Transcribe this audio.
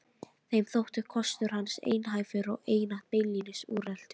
Þeim þótti kostur hans einhæfur og einatt beinlínis úreltur.